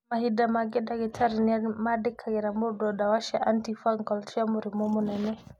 mahĩnda mangĩ ndagĩtarĩ nĩ mandĩkangĩra mũndũ ndawa cia antifungal cia mũrimũ mũnene.